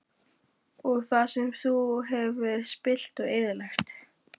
Og það sem þú hefur spillt og eyðilagt?